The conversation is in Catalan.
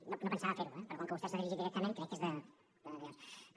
no pensava fer ho eh però com que vostè s’ha dirigit directament crec que és d’allò